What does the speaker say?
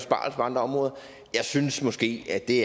på andre områder jeg synes måske at det